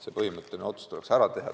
See põhimõtteline otsus tuleks ära teha.